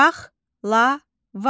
Paxlava.